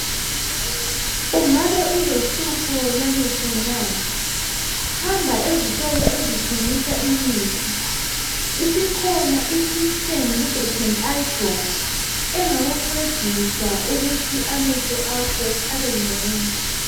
Ungabe ulohlupho lwamehlo na? Hamba ezitolo ezithengisa imithi. Isikhona iSystane lubricant eye drop engakuncedisa ukuthi amehlo akho abengcono.